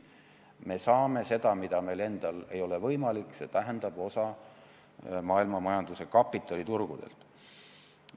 Me saame midagi, mida meil endal ei ole võimalik toota, osaliselt maailmamajanduse kapitaliturgudelt.